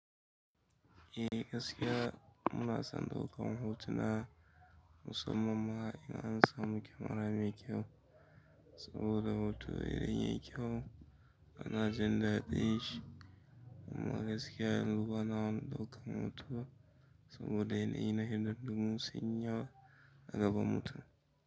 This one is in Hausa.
Eh gaskiya muna son ɗaukar hotuna, musamman ma in an samu kyamarar mai kyau saboda hoto yayi kyau. Ana jinda ɗin shi kuma gaskiya yanzu bana wani ɗaukar hoto saboda in ina hirar ɗumama saniya, a gaba mutu.